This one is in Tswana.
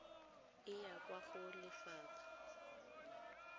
e ya kwa go lefapha